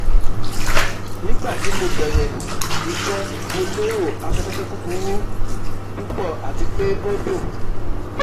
Nigbati mo bẹrẹ iṣẹ Mo lero afẹfẹ kukuru pupọ ati pe o dun